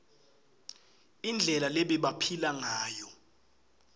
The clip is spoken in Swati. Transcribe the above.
indlela lebebaphila ngayo